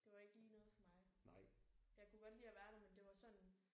Det var ikke lige noget for mig. Jeg kunne godt lide at være der men det var sådan